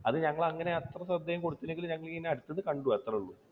അത് ഞങ്ങൾ അങ്ങനെ അത്ര ശ്രദ്ധയും കൊടുത്തില്ലെങ്കിലും ഞങ്ങൾ അടുത്ത് നിന്ന് കണ്ടു അത്രയേ ഉള്ളൂ.